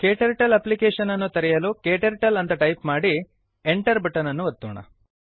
KTurtle application ಅನ್ನು ತೆರೆಯಲು KTurtle ಅಂತ ಟೈಪ್ ಮಾಡಿ enter ಬಟನ್ ಅನ್ನು ಒತ್ತೋಣ